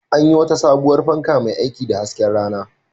An yi wata sabuwar fanka mai aiki da hasken rana.